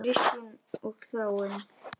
Kristín og Þráinn.